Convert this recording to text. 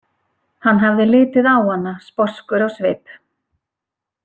Hann hafði litið á hana sposkur á svip.